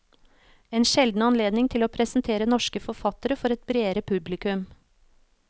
En sjelden anledning til å presentere norske forfattere for et bredere publikum.